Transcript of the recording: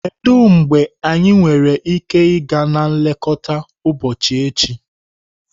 Kedu mgbe anyị nwere ike ịga na nlekọta ụbọchị echi?